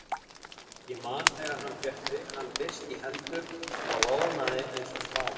Ég man þegar hann fékk hann fyrst í hendur og roðnaði eins og smá